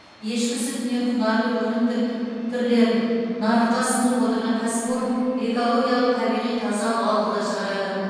ешкі сүтінен құнарлы өнім түрлерін нарыққа ұсынып отырған кәсіпорын экологиялық табиғи таза балды да шығарады